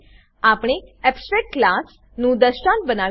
આપણે abstract class abstract class નું દ્રષ્ટાંત બનાવી શકતા નથી